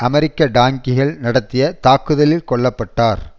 அமெரிக்க டாங்கிகள் நடத்திய தாக்குதலில் கொல்ல பட்டார்